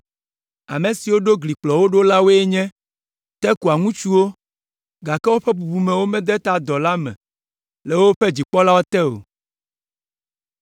Ame siwo ɖo gli kplɔ wo ɖo la woe nye, Tekoa ŋutsuwo, gake woƒe bubumewo mede ta dɔ la me le woƒe dzikpɔlawo te o.